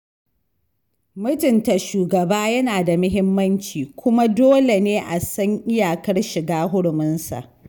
Mutunta shugaba yana da mahimmanci, kuma dole ne a san iyakar shiga huruminsa.